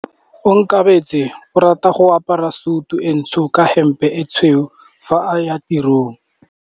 Onkabetse o rata go apara sutu e ntsho ka hempe e tshweu fa a ya tirong.